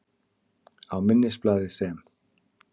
Á minnisblaði, sem